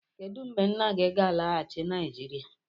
Kedu mgbe nna gị ga-alaghachi Naịjirịa?